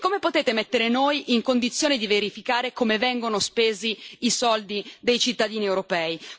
E come potete mettere noi in condizione di verificare come vengono spesi i soldi dei cittadini europei?